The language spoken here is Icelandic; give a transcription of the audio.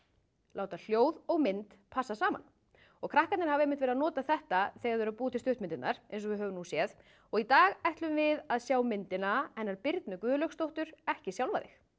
láta hljóð og mynd passa saman og krakkarnir hafa einmitt verið að nota þetta þegar þau hafa verið að búa til stuttmyndirnar eins og við höfum séð í dag ætlum við að sjá myndina hennar Birnu Guðlaugsdóttur ekki sjálfa þig